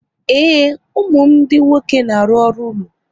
Ee, ụmụ m ndị nwoke na-arụ ọrụ ụlọ